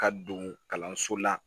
Ka don kalanso la